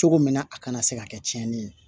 Cogo min na a kana se ka kɛ tiɲɛni ye